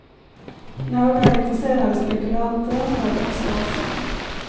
Några intresserade spekulanter hörde också av sig.